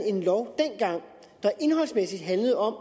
en lov der indholdsmæssigt handlede om